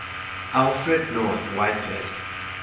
alfred north whitehead